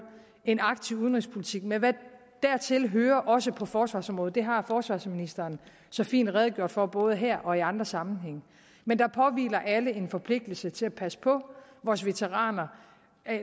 en aktiv udenrigspolitik med hvad dertil hører også på forsvarsområdet det har forsvarsministeren så fint redegjort for både her og i andre sammenhænge men der påhviler alle en forpligtelse til at passe på vores veteraner